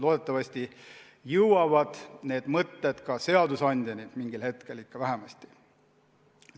Loodetavasti jõuavad need mõtted mingil hetkel ka seadusandjani.